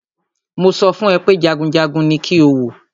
Mo sọ fún ẹ pé jagunjagun ní kí o wò!